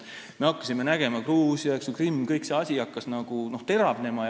Me nägime, kuidas Gruusia, Krimm ja kõik see asi hakkas teravnema.